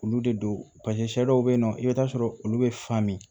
Olu de don paseke sɛ dɔw be yen nɔ i bi taa sɔrɔ olu be fan min